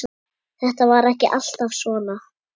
Þetta var ekki alltaf svona.